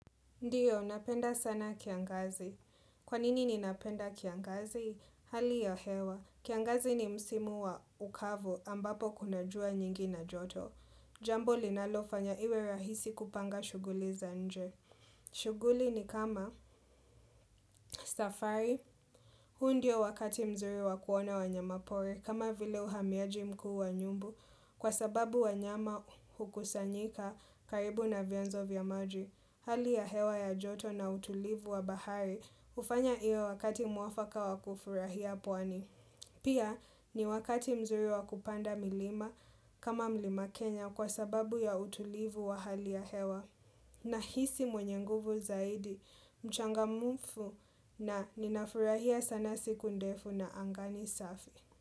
Ndiyo, napenda sana kiangazi. Kwanini ni napenda kiangazi? Hali ya hewa. Kiangazi ni msimu wa ukavu ambapo kuna jua nyingi na joto. Jambo linalofanya iwe rahisi kupanga shughuli za nje. Shughuli ni kama safari. Huu ndio wakati mzuri wakuona wanyama pori kama vile uhamiaji mkuu wa nyumbu kwa sababu wanyama hukusanyika karibu na vyanzo vya maji. Hali ya hewa ya joto na utulivu wa bahari hufanya iyo wakati muafaka wakufurahia pwani. Pia ni wakati mzuri wakupanda milima kama mlima Kenya kwa sababu ya utulivu wa hali ya hewa. Na hisi mwenye nguvu zaidi, mchangamumfu na ninafurahia sana siku ndefu na anga ni safi.